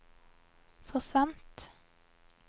forsvant